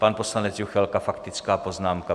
Pan poslanec Juchelka - faktická poznámka.